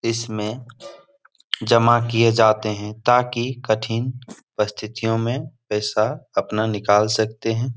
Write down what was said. इसमें जमा किये जाते हैं ताकि कठिन परस्थितियों में पैसा अपना निकाल सकते हैं ।